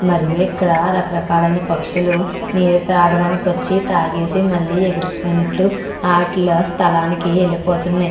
మరియు ఇక్కడ రకరకాల పక్షులు నీలు తాగడానికి ఆచి మళ్ళి ఎగురుకుంటూ వాటి స్ధలానికి వేలిపోతునాయి.